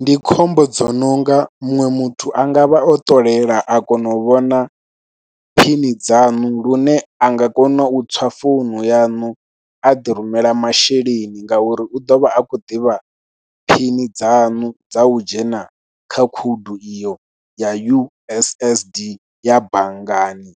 Ndi khombo dzo no nga muṅwe muthu a nga vha o ṱolela a kona u vhona phini dzanu lune a nga kona u tswa founu yanu a ḓirumela masheleni ngauri u ḓo vha a khou ḓivha phini dzanu dza u dzhena kha khoudu iyo ya U_S_S_D ya banngani,